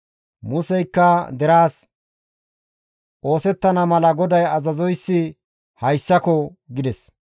Museykka deraas, «Oosettana mala GODAY azazoyssi hayssako!» gides.